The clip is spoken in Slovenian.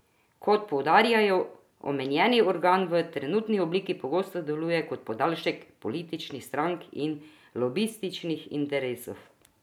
Kot poudarjajo, omenjeni organ v trenutni obliki pogosto deluje kot podaljšek političnih strank in lobističnih interesov.